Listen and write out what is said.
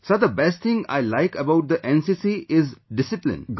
Sir, the best thing I like about the NCC is discipline